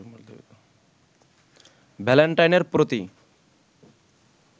ভ্যালেন্টাইনের প্রতি